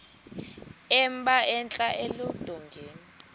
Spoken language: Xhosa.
emba entla eludongeni